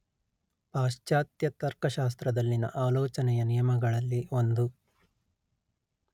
ಪಾಶ್ಚಾತ್ಯ ತರ್ಕಶಾಸ್ತ್ರದಲ್ಲಿನ ಆಲೋಚನೆಯ ನಿಯಮಗಳಲ್ಲಿ ಒಂದು